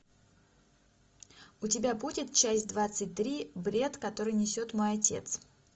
у тебя будет часть двадцать три бред который несет мой отец